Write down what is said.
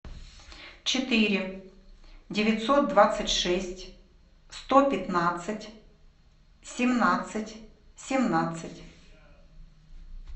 четыре девятьсот двадцать шесть сто пятнадцать семнадцать семнадцать